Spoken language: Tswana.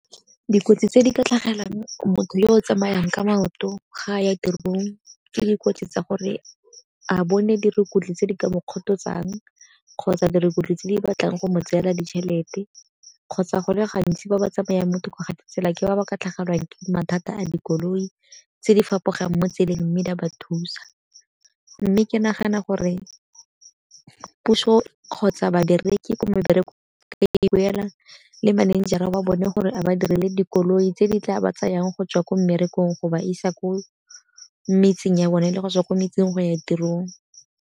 Dikotsi tse di ka tlhagelelang motho yo o tsamayang ka maoto ga a ya tirong ke dikotsi tsa gore a bone dirukutlhi tse di ka mokgototsang, kgotsa dirukutlhi tse di batlang go mo tseela ditšhelete, kgotsa go le gantsi ba ba tsamaya mo thoko ga tsela ke ba ba ka tlhagelwang ke mathata a dikoloi tse di fapogang mo tseleng mme di a ba thusa. Mme ke nagana gore puso kgotsa ka babereki ko mebereko le manager-ra wa bone gore a ba direle dikoloi tse di tla ba tsayang gotswa ko mmerekong go ba isa ko metseng ya bone le go tswa ko metseng go ya tirong.